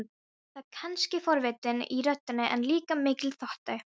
Það er kannski forvitni í röddinni, en líka mikill þótti.